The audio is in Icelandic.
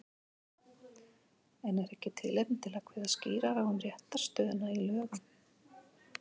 En er ekki tilefni til að kveða skýrar á um réttarstöðuna í lögum?